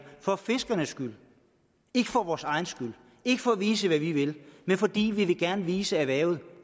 for fiskernes skyld ikke for vores egen skyld ikke for at vise hvad vi vil men fordi vi gerne vil vise erhvervet